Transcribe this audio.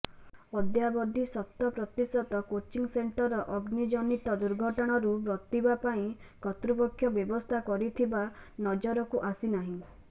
ଅଦ୍ୟାବଧି ଶତପ୍ରତିଶତ coaching centre ଅଗ୍ନି ଜନିତ ଦୁର୍ଘଟଣାରୁ ବର୍ତ୍ତିବା ପାଇଁ କର୍ତ୍ତୃପକ୍ଷ ବ୍ୟବସ୍ଥା କରିଥିବା ନଜରକୁ ଆସିନାହିଁ